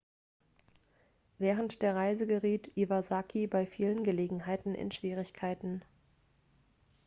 während der reise geriet iwasaki bei vielen gelegenheiten in schwierigkeiten